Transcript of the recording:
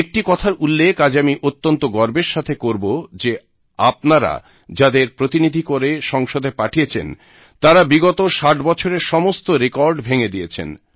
একটি কথার উল্লেখ আজ আমি অত্যন্ত গর্বের সাথে করব যে আপনারা যাঁদের প্রতিনিধি করে সংসদে পাঠিয়েছেন তাঁরা বিগত 60 বছরের সমস্ত রেকর্ড ভেঙে দিয়েছেন